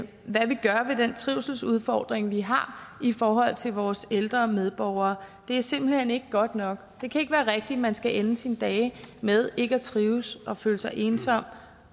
hvad vi gør ved den trivselsudfordring vi har i forhold til vores ældre medborgere det er simpelt hen ikke godt nok det kan ikke være rigtigt at man skal ende sine dage med ikke at trives og føle sig ensom